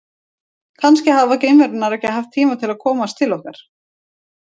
Kannski hafa geimverurnar ekki haft tíma til að komast til okkar.